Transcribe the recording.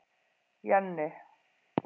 Jenni